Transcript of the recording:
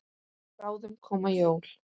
Bráðum koma jól.